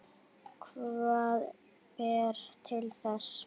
Hvað ber til þess?